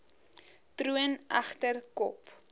troon egter kop